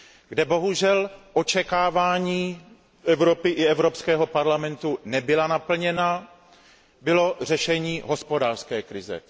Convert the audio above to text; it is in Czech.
Kde bohužel očekávání Evropy i Evropského parlamentu nebyla naplněna, bylo řešení hospodářské krize.